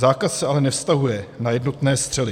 Zákaz se ale nevztahuje na jednotné střely.